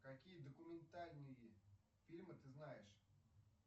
какие документальные фильмы ты знаешь